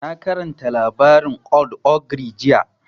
Na karanta labarin old ogre jiya